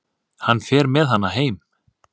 Hann fer með hana heim.